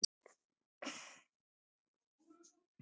Lof mér sjá